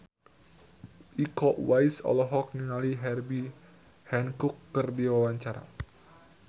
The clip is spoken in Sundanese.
Iko Uwais olohok ningali Herbie Hancock keur diwawancara